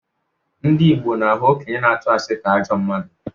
Ndị Igbo na-ahụ okenye na-atụ asị ka ajọ mmadụ.